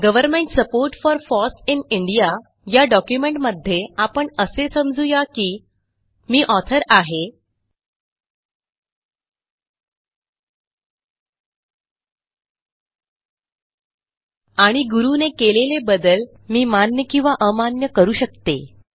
Government support for FOSS in Indiaया डॉक्युमेंटमध्ये आपण असे समजू या की मी ऑथर आहे आणि गुरू ने केलेले बदल मी मान्य किंवा अमान्य करू शकतो